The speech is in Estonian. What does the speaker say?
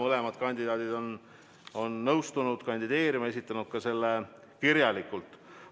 Mõlemad kandidaadid on nõustunud kandideerima ja esitanud selle ka kirjalikult.